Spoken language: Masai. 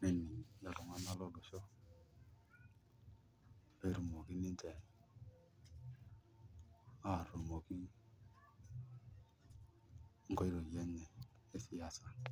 nening' iltung'anak lolosho pee etumoki ninche nkoitoi enye e siasa.